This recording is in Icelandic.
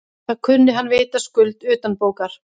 Það kunni hann vitaskuld utanbókar.